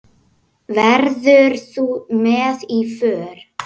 Verður þú með í för?